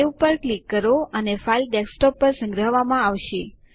save પર click કરો અને ફાઈલ ડેસ્કટોપ પર સંગ્રહવામાં આવશે